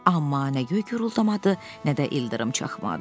Amma nə göy guruldamadı, nə də ildırım çaxmadı.